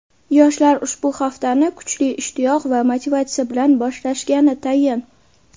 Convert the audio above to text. Yoshlar ushbu haftani kuchli ishtiyoq va motivatsiya bilan boshlashgani tayin.